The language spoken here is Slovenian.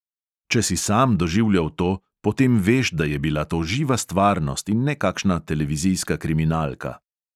Če si sam doživljal to, potem veš, da je bila to živa stvarnost in ne kakšna televizijska kriminalka.